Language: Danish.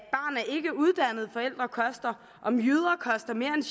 ikkeuddannede forældre koster om jyder koster mere